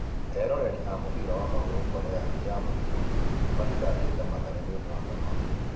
Eroreri a mũbira wa magũrũ Korea ya mũhuro mathitangaga Mathare nĩũndũ wa Kamau.